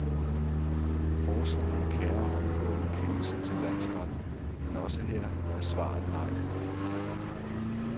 Forsvareren kærer omgående kendelsen til landsretten, men også her er svaret nej.